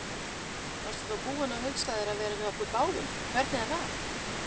Varstu þá búin að hugsa þér að vera með okkur báðum, hvernig er það?